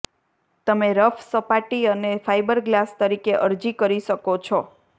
તમે રફ સપાટી અને ફાઇબરગ્લાસ તરીકે અરજી કરી શકો છો